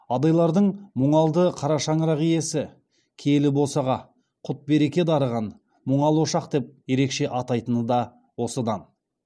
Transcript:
адайлардың мұңалды қарашаңырақ иесі киелі босаға құт береке дарыған мұңал ошақ деп ерекше атайтыны да осыдан